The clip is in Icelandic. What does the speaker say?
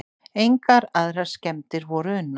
Engar aðrar skemmdir voru unnar